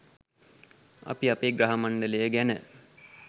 අපි අපේ ග්‍රහ මණ්ඩලය ගැන